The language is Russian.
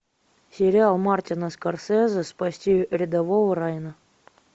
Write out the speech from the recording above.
сериал мартина скорсезе спасти рядового райана